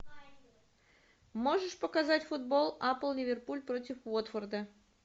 можешь показать футбол апл ливерпуль против уотфорда